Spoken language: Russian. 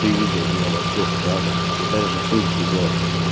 ты видел меня во всех чатах ты так же тут сидел